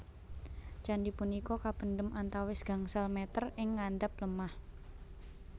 Candi punika kapendhem antawis gangsal meter ing ngandhap lemah